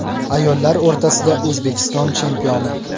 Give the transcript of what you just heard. Ayollar o‘rtasida O‘zbekiston chempioni.